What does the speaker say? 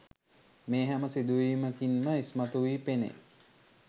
මේ හැම සිදුවීමකින්ම ඉස්මතු වී පෙනේ.